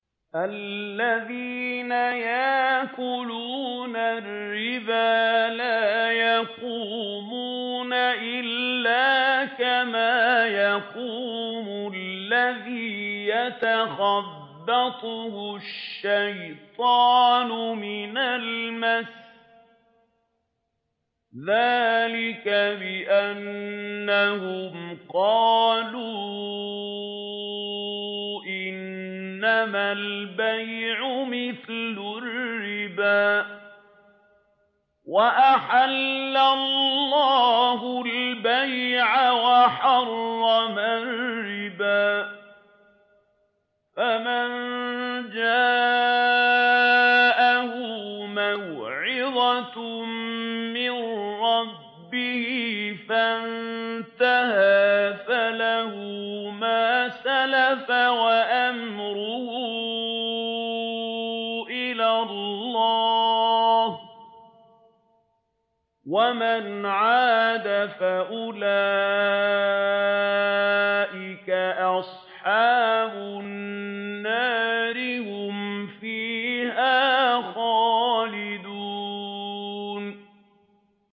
الَّذِينَ يَأْكُلُونَ الرِّبَا لَا يَقُومُونَ إِلَّا كَمَا يَقُومُ الَّذِي يَتَخَبَّطُهُ الشَّيْطَانُ مِنَ الْمَسِّ ۚ ذَٰلِكَ بِأَنَّهُمْ قَالُوا إِنَّمَا الْبَيْعُ مِثْلُ الرِّبَا ۗ وَأَحَلَّ اللَّهُ الْبَيْعَ وَحَرَّمَ الرِّبَا ۚ فَمَن جَاءَهُ مَوْعِظَةٌ مِّن رَّبِّهِ فَانتَهَىٰ فَلَهُ مَا سَلَفَ وَأَمْرُهُ إِلَى اللَّهِ ۖ وَمَنْ عَادَ فَأُولَٰئِكَ أَصْحَابُ النَّارِ ۖ هُمْ فِيهَا خَالِدُونَ